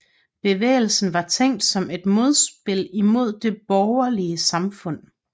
Bevægelsen var tænkt som et modspil imod det borgerlige samfund